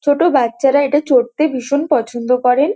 ছোট বাচ্চারা এটা চড়তে ভীষণ পছন্দ করেন।